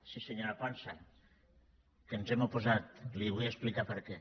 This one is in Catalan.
sí senyora ponsa que ens hi hem oposat li vull explicar per què